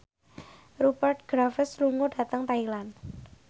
Rupert Graves lunga dhateng Thailand